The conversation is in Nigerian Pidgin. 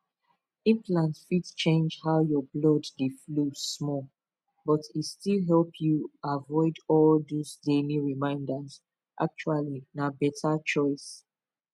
implant fit change how your blood dey flow small but e still help you avoid all those daily reminders actually na better choice